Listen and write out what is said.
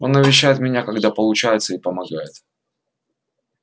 он навещает меня когда получается и помогает